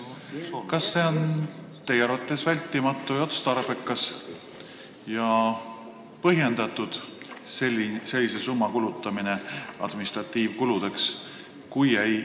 Kas teie arvates on vältimatu, otstarbekas ja põhjendatud sellise summa kulutamine administratiivkuludeks?